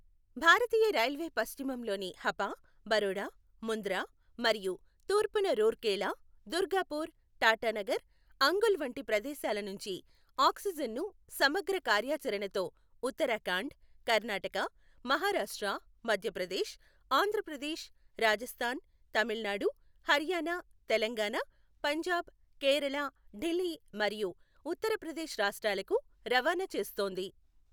భారతీయ railway పశ్చిమంలోని హపా, బరోడా, ముంద్రా మరియు తూర్పున రూర్కెలా, దుర్గాపూర్, టాటానగర్, అంగుల్ వంటి ప్రదేశాల నుంచి ఆక్సిజన్ ను సమగ్ర కార్యాచణతో ఉత్తరాఖండ్, కర్ణాటక, మహారాష్ట్ర, మధ్యప్రదేశ్, ఆంధ్రప్రదేశ్, రాజస్థాన్, తమిళనాడు, హర్యానా, తెలంగాణ, పంజాబ్, కేరళ, ఢిల్లీ మరియు ఉత్తర ప్రదేశ్ రాష్ట్రాలకు రవాణ చేస్తోంది.